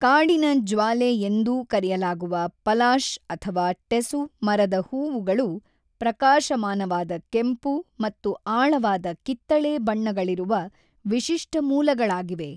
ಕಾಡಿನ ಜ್ವಾಲೆ ಎಂದೂ ಕರೆಯಲಾಗುವ ಪಲಾಶ್ ಅಥವಾ ಟೆಸು ಮರದ ಹೂವುಗಳು ಪ್ರಕಾಶಮಾನವಾದ ಕೆಂಪು ಮತ್ತು ಆಳವಾದ ಕಿತ್ತಳೆ ಬಣ್ಣಗಳಿರುವ ವಿಶಿಷ್ಟ ಮೂಲಗಳಾಗಿವೆ.